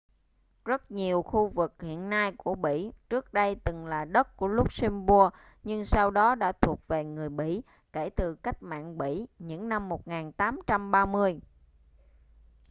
rất nhiều khu vực hiện nay của bỉ trước đây từng là đất của luxembourg nhưng sau đó đã thuộc về người bỉ kể từ cách mạng bỉ những năm 1830